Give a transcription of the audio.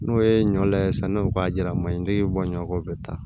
N'o ye ɲɔ layɛ sann'o k'a jira maɲi bɔ ɲɔ kɔ bɛ taa